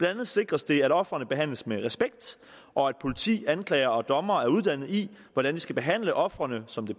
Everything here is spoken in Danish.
andet sikres det at ofrene behandles med respekt og at politi anklager og dommer er uddannet i hvordan de skal behandle ofrene som det